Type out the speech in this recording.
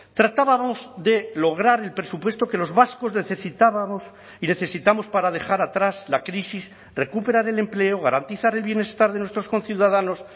tratábamos de lograr el presupuesto que los vascos necesitábamos y necesitamos para dejar atrás la crisis recuperar el empleo garantizar el bienestar de nuestros conciudadanos